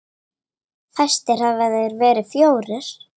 Fæstir hafa þeir verið fjórir.